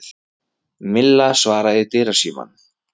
Milla svaraði í dyrasímann.